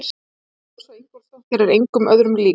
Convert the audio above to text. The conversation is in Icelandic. Rósa Ingólfsdóttir er engum öðrum lík.